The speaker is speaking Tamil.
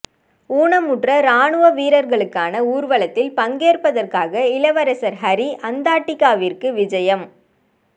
ஊனமுற்ற இராணுவ வீரர்களுக்கான ஊர்வலத்தில் பங்கேற்பதற்காக இளவரசர் ஹரி அந்தாட்டிக்காவிற்கு விஜயம்